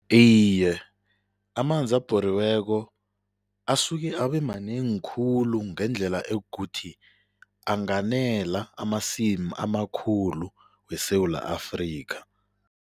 Iye, amanzi abhoriweko asuke abemanengi khulu ngendlela ekukuthi anganela amasimu amakhulu weSewula Afrika.